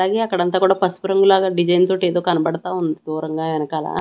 అలాగే అక్కడంతా కూడా పసుపు రంగు లాగా డిజైన్ తోటి ఏదో కనబడతా ఉంది దూరంగా ఎనకాల.